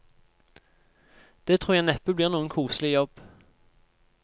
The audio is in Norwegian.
Det tror jeg neppe blir noen koselig jobb.